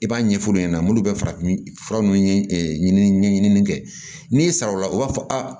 I b'a ɲɛf'olu ɲɛna munnu bɛ farafin fura nunnu ɲin ɲɛɲini kɛ n'i ye saraw la o b'a fɔ aa